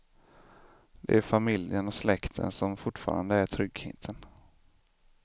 Det är familjen och släkten som fortfarande är tryggheten.